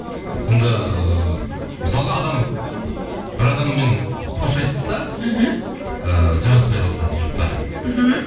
сонда ыыы мысалға адам бір адаммен қош айтысса мхм ыыы жараспай қалса жұптары мхм